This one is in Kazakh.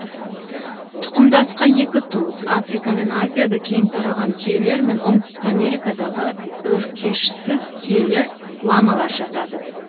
тұқымдасқа екі туыс африка мен азияда кең тараған түйелер мен оңтүстік америкадағы өркешсіз түйелер ламалар жатады